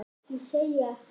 Ég segi ekkert.